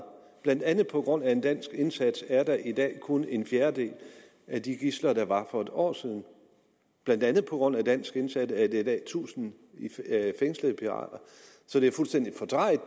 blandt andet på grund af en dansk indsats er der i dag kun en fjerdedel af de gidsler der var for et år siden blandt andet på grund af en dansk indsats er der i dag tusind fængslede pirater så det er fuldstændig fordrejet at